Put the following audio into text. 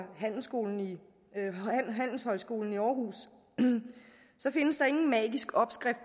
handelshøjskolen i aarhus findes der ingen magisk opskrift